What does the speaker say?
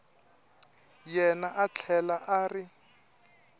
yena a tlhela a ri